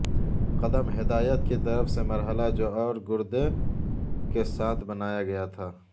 قدم ہدایت کی طرف سے مرحلہ جو اور گردے کے ساتھ بنایا گیا تھا